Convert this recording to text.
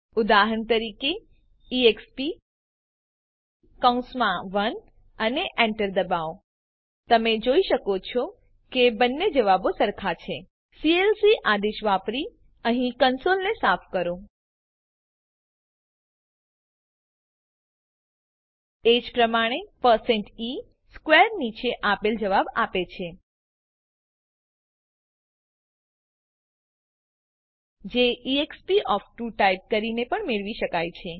ઉદાહરણ તરીકે એક્સપ અને Enter દબાવો તમે જોઈ શકો છો કે બંને જવાબો સરખા છે સીએલસી આદેશ વાપરીને અહીં કંસોલને સાફ કરો એજ પ્રમાણે e સ્ક્વેર નીચે આપેલ જવાબ આપે છે જે એક્સપ ઓફ 2 ટાઈપ કરીને પણ મેળવી શકાય છે